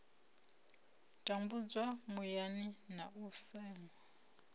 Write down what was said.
tambudzwa muyani na u seṅwa